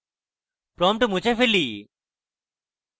prompt মুছে ফেলি